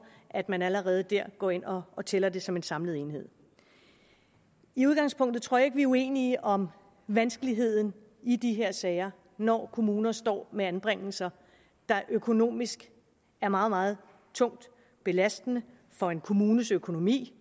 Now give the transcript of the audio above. at man allerede der går ind og og tæller det som en samlet enhed i udgangspunktet tror jeg vi er uenige om vanskeligheden i de her sager når kommuner står med anbringelser der økonomisk er meget meget tungt belastende for en kommunes økonomi